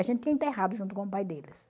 A gente tinha enterrado junto com o pai deles.